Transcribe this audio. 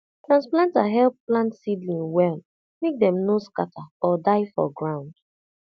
transplanter help plant seedling well make dem no scatter or die for ground